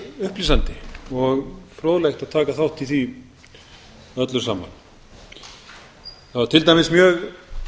upplýsandi og fróðlegt að taka þátt í því öllu saman það var til dæmis mjög